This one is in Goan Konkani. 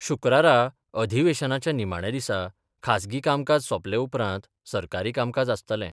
शुक्रारा अधिवेशनाच्या निमाण्या दिसा खासगी कामकाज सोपले उपरांत सरकारी कामकाज आसतलें.